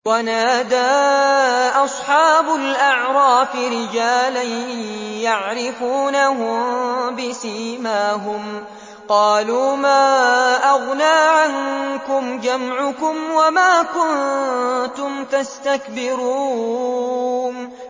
وَنَادَىٰ أَصْحَابُ الْأَعْرَافِ رِجَالًا يَعْرِفُونَهُم بِسِيمَاهُمْ قَالُوا مَا أَغْنَىٰ عَنكُمْ جَمْعُكُمْ وَمَا كُنتُمْ تَسْتَكْبِرُونَ